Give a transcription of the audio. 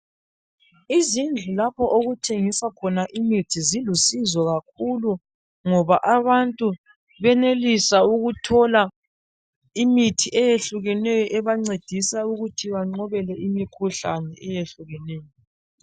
Izindlu lapho okuthengiswa khona imithi zilusizo kakhulu ngoba abantu benelisa ukuthola imithi eyehlukeneyo ebancedisa ukuthi banqobele imikhuhlane eyehlukeneyo.